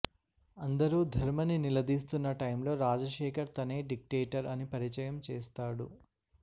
అందరూ ధర్మని నిలదీస్తున్న టైంలో రాజశేఖర్ తనే డిక్టేటర్ అని పరిచయం చేస్తాడు